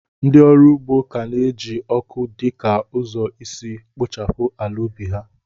Ndị ọrụ ugbo ka na-eji ọkụ dị ka ụzọ isi kpochapụ ala ubi ha.